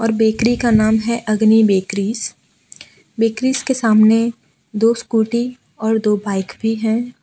और बेकरी का नाम है अग्नि बेकरीज बेकरीज के सामने दो स्कूटी और दो बाइक भी है।